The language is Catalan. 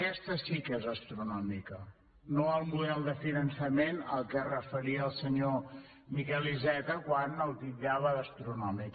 aquesta sí que és astronòmica no el model de finançament al qual es referia el senyor miquel iceta quan el titllava d’astronòmic